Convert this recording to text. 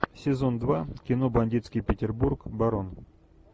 сезон два кино бандитский петербург барон